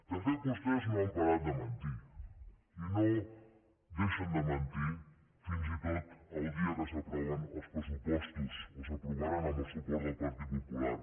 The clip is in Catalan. de fet vostès no han parat de mentir i no deixen de mentir fins i tot el dia que s’aproven els pressupostos o s’aprovaran amb el suport del partit popular